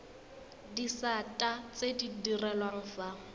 disata tse di direlwang fa